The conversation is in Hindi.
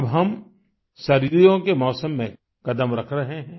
अब हम सर्दियों के मौसम में कदम रख रहे हैं